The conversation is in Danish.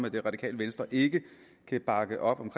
at det radikale venstre ikke kan bakke op om